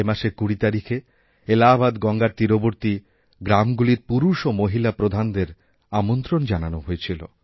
এ মাসের ২০ তারিখেএলাহাবাদ গঙ্গার তীরবর্তী গ্রামগুলির পুরুষ ও মহিলা প্রধানদের আমন্ত্রন জানানো হয়েছিল